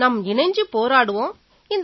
நாம இணைஞ்சு போராடுவோம்